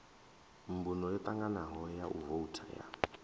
mbumbo yotanganaho ya vouthu ya